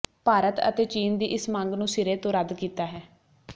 ਭਾਰਤ ਅਤੇ ਚੀਨ ਦੀ ਇਸ ਮੰਗ ਨੂੰ ਸਿਰੇ ਤੋਂ ਰੱਦ ਕੀਤਾ ਹੈ